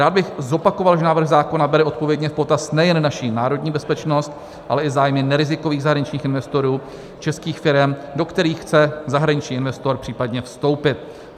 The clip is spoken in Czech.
Rád bych zopakoval, že návrh zákona bere odpovědně v potaz nejen naši národní bezpečnost, ale i zájmy nerizikových zahraničních investorů, českých firem, do kterých chce zahraniční investor případně vstoupit.